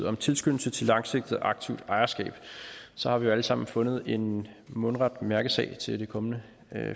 om tilskyndelse til langsigtet aktivt ejerskab så har vi alle sammen fundet en mundret mærkesag til de kommende